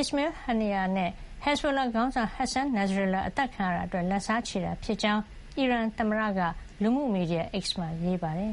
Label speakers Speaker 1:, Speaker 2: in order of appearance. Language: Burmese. Speaker 1: Ismail Haniyeh နဲ့ ပြီးခဲ့တဲ့ သီတင်းပတ်ထဲ ဘေရွတ်မှာ ဟက်ဇ်ဘိုလာ ခေါင်းဆောင် Hassan Nasrallah အသတ်ခံရတာအတွက် လက်စားချေတာ ဖြစ်ကြောင်း အီရန်သမ္မတ မာဆု ပဇက်ရှ်ကီရန်က လူမှုမီဒီယာ X မှာ ရေးပါတယ်။